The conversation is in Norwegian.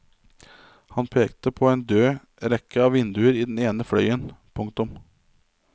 Han pekte på en død rekke av vinduer i den ene fløyen. punktum